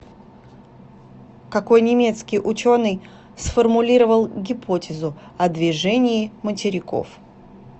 какой немецкий ученый сформулировал гипотезу о движении материков